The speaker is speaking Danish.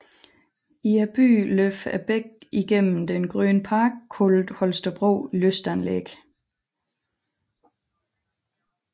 I byen løber bækken igennem den grønne park kaldet Holstebro Lystanlæg